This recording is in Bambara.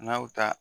N'a y'o ta